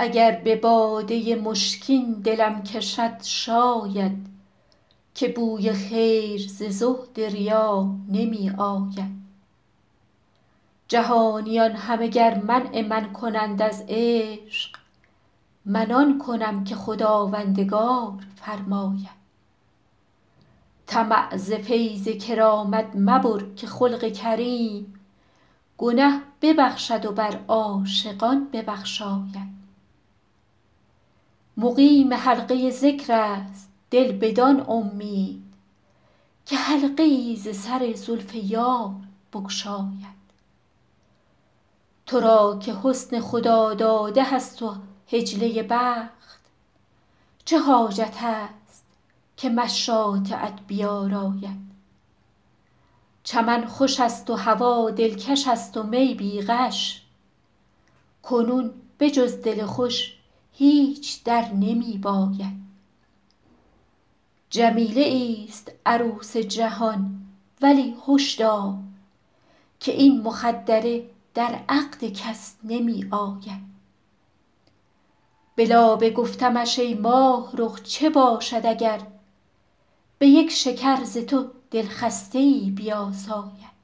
اگر به باده مشکین دلم کشد شاید که بوی خیر ز زهد ریا نمی آید جهانیان همه گر منع من کنند از عشق من آن کنم که خداوندگار فرماید طمع ز فیض کرامت مبر که خلق کریم گنه ببخشد و بر عاشقان ببخشاید مقیم حلقه ذکر است دل بدان امید که حلقه ای ز سر زلف یار بگشاید تو را که حسن خداداده هست و حجله بخت چه حاجت است که مشاطه ات بیاراید چمن خوش است و هوا دلکش است و می بی غش کنون به جز دل خوش هیچ در نمی باید جمیله ایست عروس جهان ولی هش دار که این مخدره در عقد کس نمی آید به لابه گفتمش ای ماهرخ چه باشد اگر به یک شکر ز تو دلخسته ای بیاساید